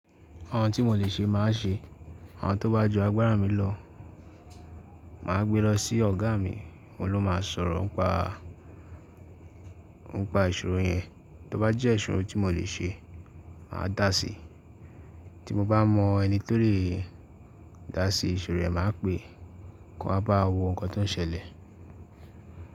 Àwọn tí mo lè ṣe màá ṣe, àwọn tó bá ju agbára mi lọ, màá gbé lọ sí ọ̀gá mi, òun ló máa sọ̀rọ̀ n pa----ń pa ìṣòro yẹn. Tó bá jẹ́ ìṣòro tí mo lè ṣe, màá dà á sí. Tó mo bá mọn ẹni tí o lè dá sí ìṣòro yẹn, màá péé kó wá báwa wo nǹkan tí óńselẹ̀.